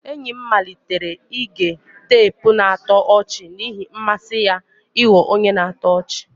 Enyi m malitere ige teepu na-atọ ọchị n'ihi mmasị ya ịghọ onye na-atọ ọchị.